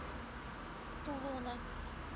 тулуна